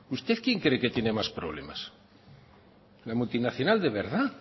usted quién creen que tiene más problemas la multinacional de verdad